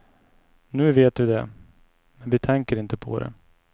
Nu vet vi det, men vi tänker inte på det.